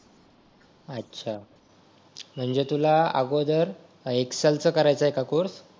अच्छा म्हणजे तुला अगोदर एक्सेल काय करायचं आहे का कोर्स